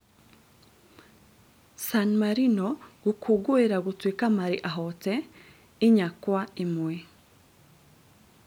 San Marino gũkũngũira gũtuĩka marĩ ahoote inya Kwa ĩmwe